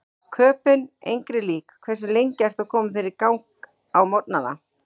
Köben engri lík Hversu lengi ertu að koma þér í gang á morgnanna?